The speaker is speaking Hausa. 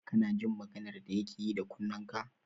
Kana jin maganar da yake yi da kunnenka?